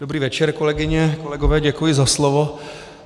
Dobrý večer, kolegyně, kolegové, děkuji za slovo.